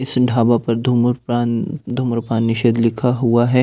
इस ढाबा पर धूम्रपान धूम्रपान निषेध लिखा हुआ है।